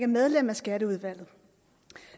medlem af skatteudvalget